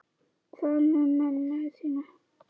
Hvað með mömmu þína?